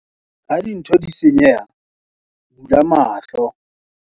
Ha dintho di senyeha, bula mahlo.